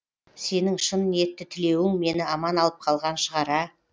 сенің шын ниетті тілеуің мені аман алып қалған шығар а